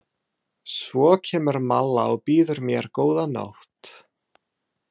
Svo kemur Malla og býður mér góða nótt.